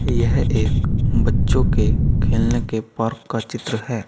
यह एक बच्चों के खेलने के पार्क का चित्र है।